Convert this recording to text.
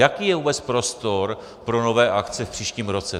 Jaký je vůbec prostor pro nové akce v příštím roce?